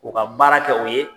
O ka baara kɛ o ye.